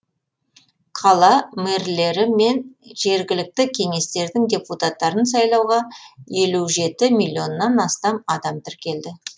қала мэрлері мен жергілікті кеңестердің депутаттарын сайлауға елу жеті миллионнан астам адам тіркелді